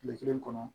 Kile kelen kɔnɔ